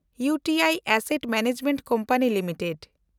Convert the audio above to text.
ᱤᱣ T I asset management company limited